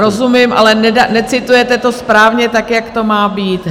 Rozumím, ale necitujete to správně tak, jak to má být.